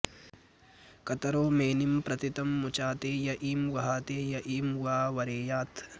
क॒त॒रो मे॒निं प्रति॒ तं मु॑चाते॒ य ईं॒ वहा॑ते॒ य ईं॑ वा वरे॒यात्